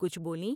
کچھ بولیں ۔